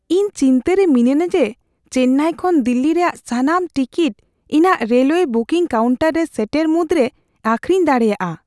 ᱤᱧ ᱪᱤᱱᱛᱟᱹ ᱨᱮ ᱢᱤᱱᱟᱹᱧᱟ ᱡᱮ ᱪᱮᱞᱞᱟᱭ ᱠᱷᱚᱱ ᱫᱤᱞᱞᱤ ᱨᱮᱭᱟᱜ ᱥᱟᱱᱟᱢ ᱴᱤᱠᱤᱴ ᱤᱧᱟᱹᱜ ᱨᱮᱞᱚᱣᱭᱮ ᱵᱩᱠᱤᱝ ᱠᱟᱣᱩᱱᱴᱟᱨ ᱨᱮ ᱥᱮᱴᱮᱨ ᱢᱩᱫᱨᱮᱜᱮ ᱟᱹᱠᱷᱨᱤᱧ ᱫᱟᱲᱮᱭᱟᱜᱼᱟ ᱾